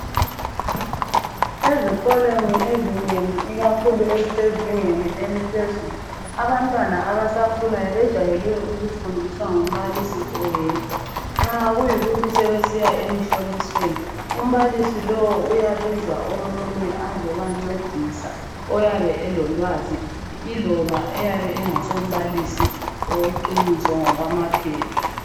Ezikolweni ezinengi, ikakhulu ezisezingeni eliphezulu, abantwana abasakhulayo bejayele ukufundiswa ngumbalisi oyedwa, Nxa sekuyikuthi sebesiya emhlolisweni, umbalisi lowo ujayele ukubiza omunye azemncedisa. Oyabe elolwazi. Loba eyabe engasumbalisi weqiniso ngokwamaphepha.